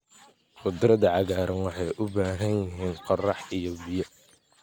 Khudradda cagaaran waxay u baahan yihiin qorax iyo biyo.